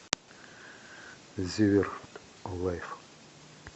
зиверт лайф